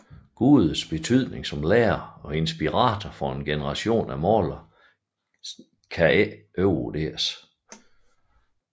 Gudes betydning som lærer og inspirator for en generation af malere kan ikke overvurderes